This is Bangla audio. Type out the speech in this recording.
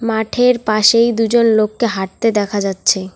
মাঠের পাশেই দুজন লোককে হাঁটতে দেখা যাচ্ছে।